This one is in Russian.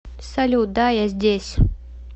салют да я здесь